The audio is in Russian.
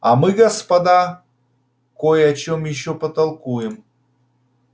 а мы господа кой о чем ещё потолкуем